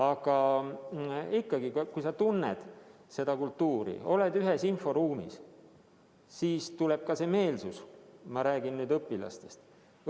Aga ikkagi, kui sa tunned seda kultuuri, oled samas inforuumis, siis tuleb ka meelsus, ma räägin õpilastest.